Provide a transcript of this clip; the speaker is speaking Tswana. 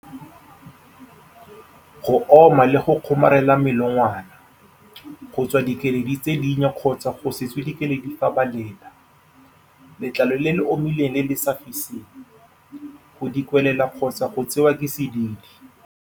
Go oma le go kgomarela melongwana. Go tswa dikeledi tse dinnye kgotsa go se tswe dikeledi fa ba lela. Letlalo le le omileng le le sa fiseng. Go dikwelela kgotsa go tsewa ke sedidi.